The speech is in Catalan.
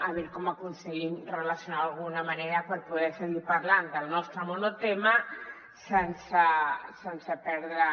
a veure com aconseguim relacionar·lo d’alguna manera per poder seguir parlant del nostre mono·tema sense perdre